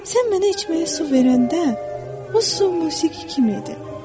Sən mənə içməyə su verəndə, o su musiqi kimi idi.